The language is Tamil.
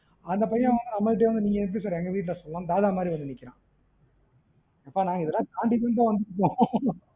அந்த பையன் நம்ம கிட்டயே வந்து நீங்க எப்படி sir எங்க வீட்டுல சொல்லலாம்னுதாதா மாதுரி வந்து நிக்கிறான் நாங்க இதலாம் தாண்டி தான் வந்துருகோம்